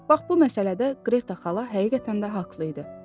Bax bu məsələdə Qreta xala həqiqətən də haqlı idi.